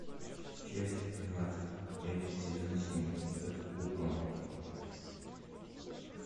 часть двадцать пять сезон семь под куполом